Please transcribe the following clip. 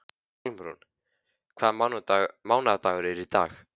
Hjálmrún, hvaða mánaðardagur er í dag?